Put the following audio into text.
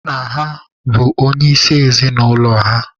Nna ha bụ onye isi ezinụlọ ha.